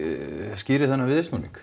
skýrir þennan viðsnúning